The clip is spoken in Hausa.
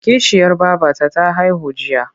Kishiyar babata ta haihu jiya.